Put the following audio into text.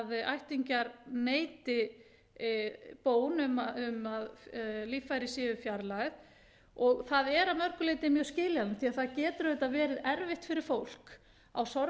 ættingjar neiti bón um að líffæri séu fjarlægð og það er að mörgu leyti mjög skiljanlegt því að það getur auðvitað verið erfitt fyrir fólk á sorgarstundu ég tala nú ekki um þegar fólk fellur frá